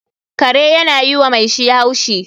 Kare yana yi wa mai shi haushi